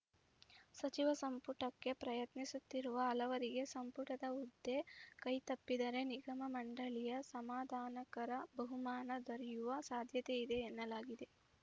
ಸಚಿವ ಸಂಪುಟಕ್ಕೆ ಪ್ರಯತ್ನಿಸುತ್ತಿರುವ ಹಲವರಿಗೆ ಸಂಪುಟದ ಹುದ್ದೆ ಕೈತಪ್ಪಿದರೆ ನಿಗಮ ಮಂಡಳಿಯ ಸಮಾಧಾನಕರ ಬಹುಮಾನ ದೊರೆಯುವ ಸಾಧ್ಯತೆಯಿದೆ ಎನ್ನಲಾಗಿದೆ